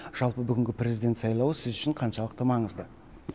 жалпы бүгінгі президент сайлауы сіз үшін қаншалықты маңызды